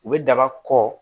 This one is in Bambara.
U bɛ daba kɔ